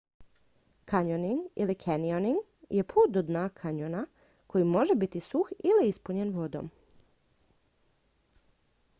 kanjoning ili canyoning je put do dna kanjona koji može biti suh ili ispunjen vodom